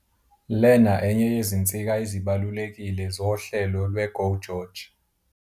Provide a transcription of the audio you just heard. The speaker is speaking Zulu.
"Lena enye yezinsika ezibalulekile zohlelo lwe-GO GEORGE.